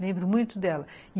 Lembro muito dela.